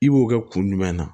I b'o kɛ kun jumɛn na